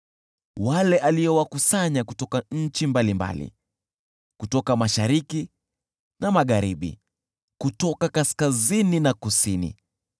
wale aliowakusanya kutoka nchi mbalimbali, kutoka mashariki na magharibi, kutoka kaskazini na kusini.